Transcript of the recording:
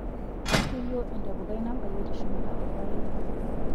Kelioo entapukai nabayie teshumata olpayeki.